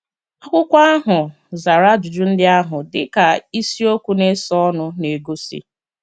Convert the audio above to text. Akwụkwọ ahụ zara ajụjụ ndị ahụ, dị ka isiokwu na-esonụ na-egosi.